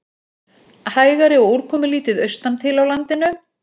Hægari og úrkomulítið austantil á landinu